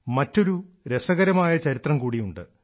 മറ്റൊരു രസകരമായ ചരിത്രം കൂടിയുണ്ട്